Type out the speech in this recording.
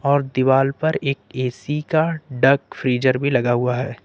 और दीवाल पर एक एक का डाक फ्रीजर भी लगा हुआ है।